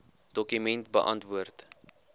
dokument beantwoord